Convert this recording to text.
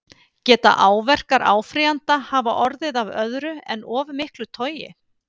Geta áverkar áfrýjanda hafa orðið af öðru en of miklu togi?